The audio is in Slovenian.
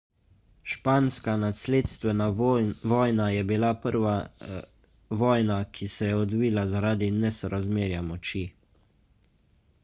španska nasledstvena vojna je bila prva vojna ki se je odvila zaradi nesorazmerja moči